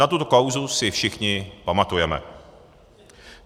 Na tuto kauzu si všichni pamatujeme.